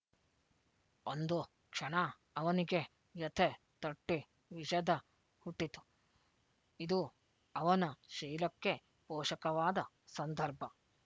ಒಂದು ಕ್ಷಣ ಅವನಿಗೆ ವ್ಯಥೆ ತಟ್ಟಿ ವಿಷ ದ ಹುಟ್ಟಿತು ಇದು ಅವನ ಶೀಲಕ್ಕೆ ಫೋಷಕವಾದ ಸಂದರ್ಭ